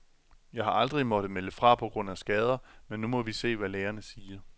Jeg har aldrig måttet melde fra på grund af skader, men nu må vi se, hvad lægerne siger.